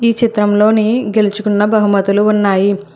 ఈ చిత్రములోని గెలుచుకున్న బహుమతులు ఉన్నాయి.